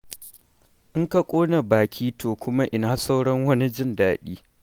In ka ƙona baki to kuma ina sauran wani jin daɗi.